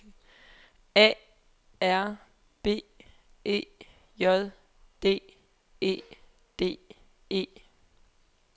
A R B E J D E D E